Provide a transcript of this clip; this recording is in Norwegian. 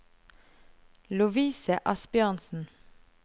Lovise Asbjørnsen